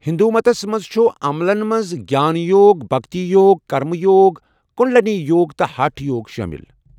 ہندوُمتس مَنٛزچھِ عملن مَنٛز چھُ گیان یوُگ ، بھکتی یوُگ ، کرمہٕ یوُگ ، کٗنڈلنی یوگ ، تہٕ ہٹھ یوگ شٲمِل۔